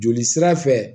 Joli sira fɛ